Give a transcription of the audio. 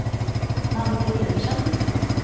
Malte Pedersen